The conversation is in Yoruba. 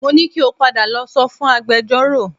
Mo ní kí o padà lọ sọ fún agbẹjọ́rò